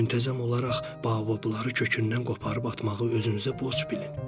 Müntəzəm olaraq baobabları kökündən qoparıb atmağı özünüzə borc bilin.